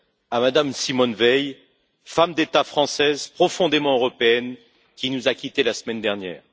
à Mme Simone Veil, femme d'État française, profondément européenne, qui nous a quittés la semaine dernière.